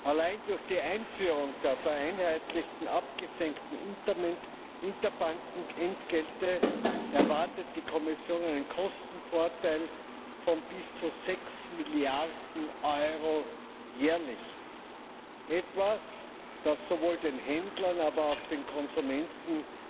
Allein durch die Einführung der vereinheitlichten abgesenkten Interbankenentgelte erwartet die Kommission einen Kostenvorteil von bis zu 6 Milliarden Euro jährlich etwas, das sowohl den Händlern, aber auch den Konsumentinnen